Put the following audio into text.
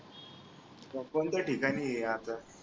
मग कोणत्या ठिकाणी आहे आता